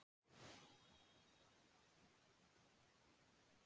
Oftast er frekar einfalt að greina hvort tennur eru úr mönnum eða ekki.